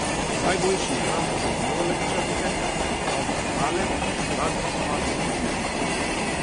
Najboljši igralec v vijoličastem Ante Kaleb v zadnjem napadu ni bil uspešen.